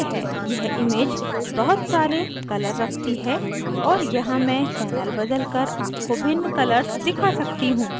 यह image बहुत सारे colours रखती है और यहाँ मैं channel बदलकर आपको भिन्न colours दिखा सकती हूँ